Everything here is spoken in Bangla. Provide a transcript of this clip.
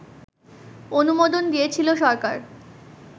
অনুমোদন দিয়েছিল সরকার